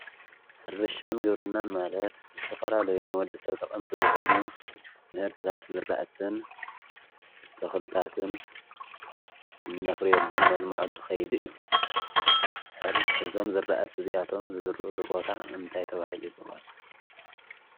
ሕርሻን ግብርናን ማለት ዝተፈላልዩ ንወዲሰብ ጠቀምቲ ዝኮኑ ምህርትታት ዝራእትን ተክልታትን እነፍርየሉ እነልመዐሉ ከይዲ እዩ። ሕር እዞም ዝራእቲ እዚኣቶም ዝዝርእሉ ቦታ እንታይ ተባሂሉ ይጽዋዕ?